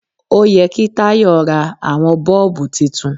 Ó yẹ kí Tayo ra àwọn bọ́ọ̀bù titun.